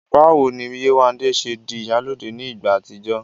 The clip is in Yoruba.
Báwo ni Yéwandé ṣe di "ìyálóde" ní ìgbà àtijọ́?